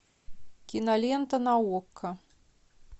кинолента на окко